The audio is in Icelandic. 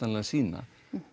sýna